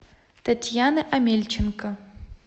татьяны омельченко